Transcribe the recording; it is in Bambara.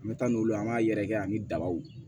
An bɛ taa n'u ye an b'a yɛrɛkɛ ani dabaw